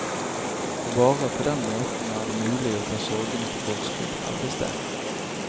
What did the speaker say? For bare på den måten er det mulig å ta sorgene på forskudd, hevdes det.